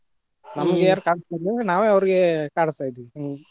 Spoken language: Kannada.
ಕಾಡಸ್ತಿರ್ಲಿಲ್ಲಾ, ನಾವೆ ಅವ್ರಿಗೆ ಕಾಡಸ್ತಾ ಇದ್ವಿ ಹೂಂ.